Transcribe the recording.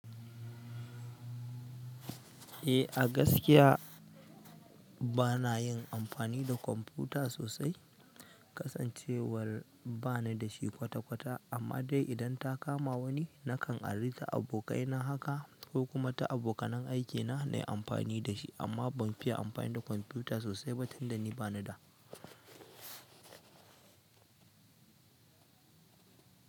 Eh a gaskiya bana yin amfani da kwamfuta sosai, kasancewar bana da shi kwata-kwata. Amman de idan ta kama wani nakan ari ta abokai na haka ko kuma ta abokanan aiki na nayi amfani da shi. Amma ban fiye amfani da kwamfuta sosai ba tun da ni bana da.